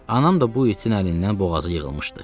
Anam da bu itin əlindən boğazı yığılmışdı.